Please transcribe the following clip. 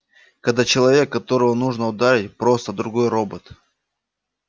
когда человек которого нужно ударить просто другой робот